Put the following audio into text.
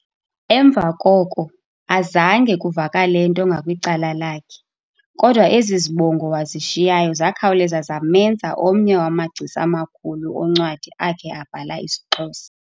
Emva koko azange kuvakalento ngakwicala lakhe, kodwa ezi zibongo wazishiyayo zakhawuleza zamenza omnye wamagcisa amakhulu oncwadi akhe abhala isiXhosa.